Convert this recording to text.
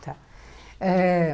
Tá. Eh